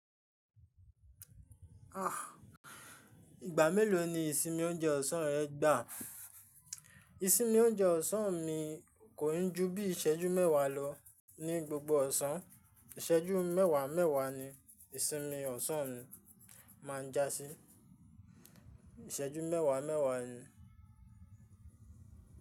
Ìgbà mélòó ni ìsinmi oúnjẹ ọ̀sán rẹ gbà? Ìsinmi oúnjẹ ọ̀sán mi kò ń ju bíi ìṣẹ́jú mẹ́wàá lọ. Ní gbogbo ọ̀sán, ìṣẹ́jú mẹ́wàá mẹ́wàá ni ìsinmi ọ̀sán mi máa ń jásí. Ìṣẹ́jú mẹ́wàá mẹ́wàá ni.